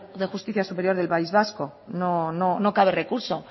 de justicia superior del país vasco no cabe recurso